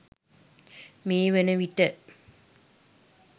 මේ වනවිට